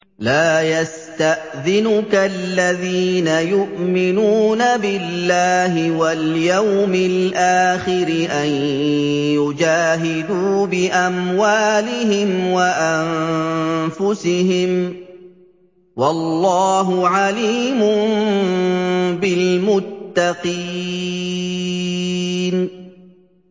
لَا يَسْتَأْذِنُكَ الَّذِينَ يُؤْمِنُونَ بِاللَّهِ وَالْيَوْمِ الْآخِرِ أَن يُجَاهِدُوا بِأَمْوَالِهِمْ وَأَنفُسِهِمْ ۗ وَاللَّهُ عَلِيمٌ بِالْمُتَّقِينَ